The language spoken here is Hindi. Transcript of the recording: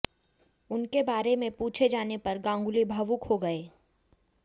उनके बारे में पूछे जाने पर गांगुली भावुक हो गए